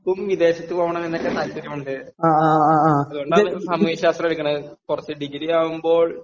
എനിക്കും വിദേശത്ത് പോകണം എന്നൊക്കെ താല്പര്യമുണ്ട്.അതുകൊണ്ടാണ് സാമൂഹ്യശാസ്ത്രം എടുക്കണത്..കുറച്ച് ...ഡിഗ്രിയാകുമ്പോൾ